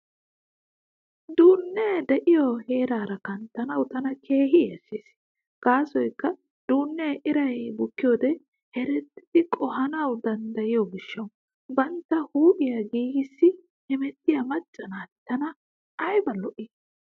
Duunnee diyoo heeraara kanttanawu tana keehi yashshees, gaasoykka duunnee iray bukkiyoode herddidi qohanawu danddayiyo gishshawu. Bantta huuphiyaa giigissi hemettiyaa macca naati tana ayba lo'i.